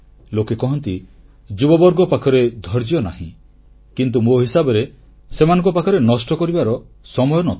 ଲୋକେ କହନ୍ତି ଯୁବବର୍ଗ ପାଖରେ ଧୈର୍ଯ୍ୟ ନାହିଁ କିନ୍ତୁ ମୋ ହିସାବରେ ସେମାନଙ୍କ ପାଖରେ ନଷ୍ଟ କରିବାର ସମୟ ନ ଥାଏ